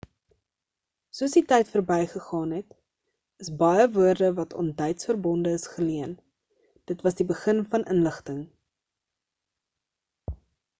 soos die tyd berby gegaan het is baie woorde wat aan duits verbonde is geleen dit was die begin van inligting